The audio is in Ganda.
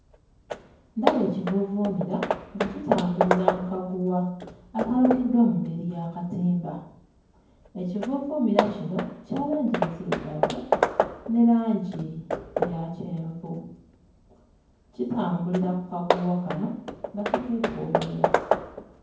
Ndaba ekivuuvuumira nga kitambulira mu kaguwa akalukiddwa mu ngeri y'akatimba. Ekivuuvuumira kino kya langi nzirugavu ne langi eya kyenvu. Kitambulira ku kaguwa kano nga kikeetooloola.